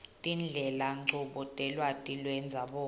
tindlelanchubo telwati lwendzabuko